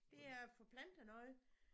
Det er at få plantet noget